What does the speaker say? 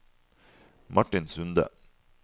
Martin Sunde